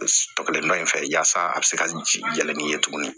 Sɔgɔlen dɔ in fɛ yasa a bɛ se ka ji yɛlɛ n'i ye tuguni